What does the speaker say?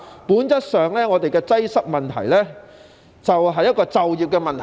本質上，本港的交通擠塞問題正正是一個就業問題。